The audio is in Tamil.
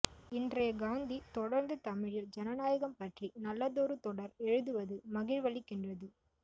இன்றைய காந்தி தொடர்ந்து தமிழில் ஜனநாயகம் பற்றி நல்லதொரு தொடர் எழுதுவது மகிழ்வளிக்கின்றது